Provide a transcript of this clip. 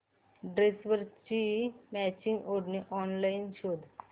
ड्रेसवरची मॅचिंग ओढणी ऑनलाइन शोध